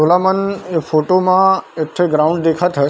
छूला मन ए फोटो म एक ठी ग्राउन्ड देखत हस ।